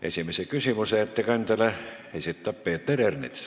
Esimese küsimuse ettekandjale esitab Peeter Ernits.